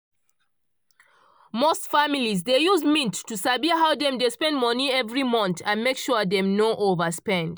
most families dey use mint to sabi how dem dey spend money every month and make sure dem no overspend.